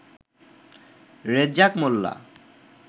Rezzak Molla